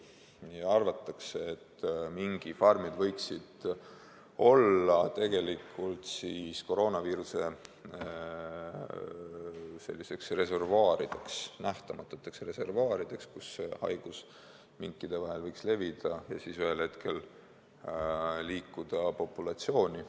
Arvatakse, et mingifarmid on võinud olla koroonaviiruse nähtamatud reservuaarid, kus haigus on võinud minkide vahel levida ja siis ühel hetkel haarata terve populatsiooni.